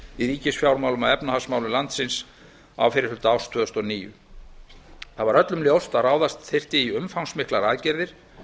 í ríkisfjármálum og efnahagsmálum landsins á fyrri hluta árs tvö þúsund og níu það var öllum ljóst að ráðast þyrfti í umfangsmiklar aðgerðir